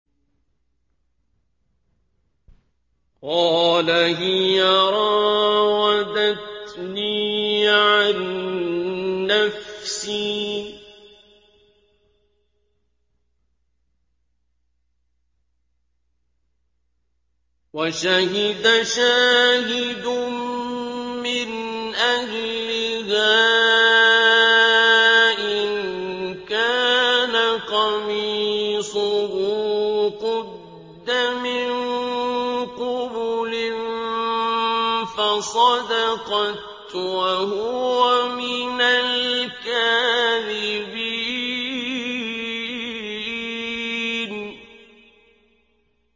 قَالَ هِيَ رَاوَدَتْنِي عَن نَّفْسِي ۚ وَشَهِدَ شَاهِدٌ مِّنْ أَهْلِهَا إِن كَانَ قَمِيصُهُ قُدَّ مِن قُبُلٍ فَصَدَقَتْ وَهُوَ مِنَ الْكَاذِبِينَ